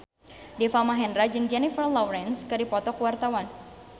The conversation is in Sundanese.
Deva Mahendra jeung Jennifer Lawrence keur dipoto ku wartawan